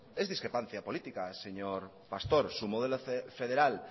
es discrepancia política señor pastor su modelo federal